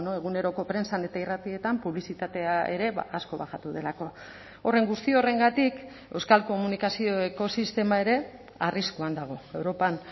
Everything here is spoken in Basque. eguneroko prentsan eta irratietan publizitatea ere asko bajatu delako horren guzti horrengatik euskal komunikazio ekosistema ere arriskuan dago europan